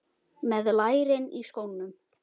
Með lærin í skónum.